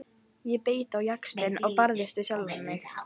Ég beit á jaxlinn og barðist við sjálfa mig.